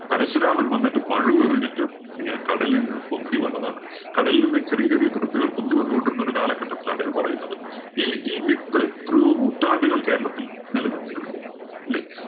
പരശുരാമന്‍ വന്നിട്ട് മഴു എറിഞ്ഞിട്ട് ഇങ്ങനെ കടലീന്ന് പൊന്തി വന്നതാണ്‌. കടലില്‍ നിന്നും ചെറിയ ചെറിയ തുരുത്തുകള്‍ പൊന്തി വന്നുകൊണ്ടിരുന്ന ഒരു കാലഘട്ടത്തിലാണ് ഇത് പറയുന്നത്. ഈ ഈ myth എത്രയോ നൂറ്റാണ്ടുകള്‍ കേരളത്തിൽ നില നിന്നിരുന്നു. ഇല്ലേ?